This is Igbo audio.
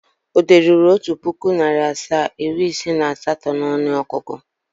O deruru Otu puku, nari asaa, iri ise na asato n'onuogugu?